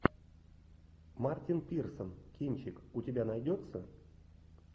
мартин пирсон кинчик у тебя найдется